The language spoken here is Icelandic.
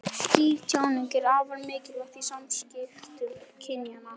Skýr tjáning er afar mikilvæg í samskiptum kynjanna.